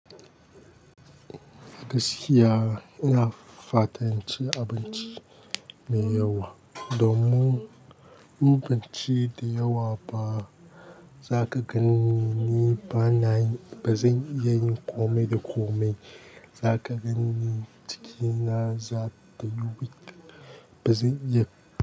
Gaskiya ina fatan cin abinci mai yawa, domin in ban ci da yawa ba zaka ganni ni bana, ba zan iya yin komai da komai. Zaka ganni jikina za, ba zan iya.